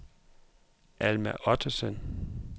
Alma Ottesen